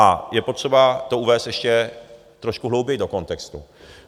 A je potřeba to uvést ještě trošku hlouběji do kontextu.